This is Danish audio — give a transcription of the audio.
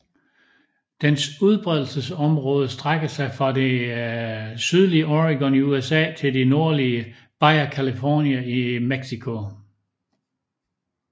Dens udbredelsesområde strækker sig fra det sydlige Oregon i USA til det nordlige Baja California i Mexico